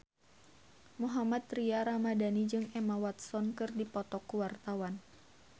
Mohammad Tria Ramadhani jeung Emma Watson keur dipoto ku wartawan